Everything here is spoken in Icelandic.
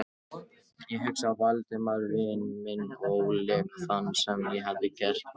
Ég hugsaði um Valdimar vin minn og óleik þann, sem ég hafði gert honum.